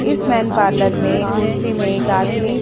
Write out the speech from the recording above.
इस main parlour में एक कुर्सी में एक आदमी --